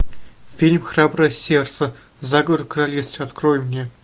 фильм храброе сердце заговор в королевстве открой мне